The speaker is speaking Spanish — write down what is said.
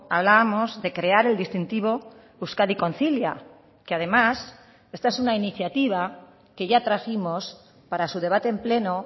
hablábamos de crear el distintivo euskadi concilia que además esta es una iniciativa que ya trajimos para su debate en pleno